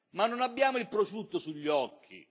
Ma non abbiamo il prosciutto sugli occhi.